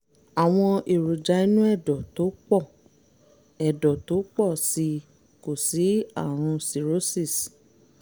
àwọn èròjà inú ẹ̀dọ̀ tó pọ̀ ẹ̀dọ̀ tó pọ̀ sí i kò sí àrùn cirrhosis